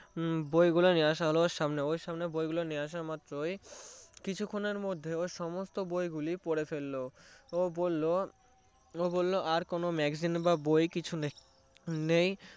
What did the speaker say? বইগুলো নিয়ে আসা হলো সামনে বইগুলো নিয়ে আসা মাত্রই কিছুক্ষনের মধ্যে ও সমস্ত বইগুলো পড়ে ফেললো ও বললো আর কিছু magazine বা বই কিছু নেই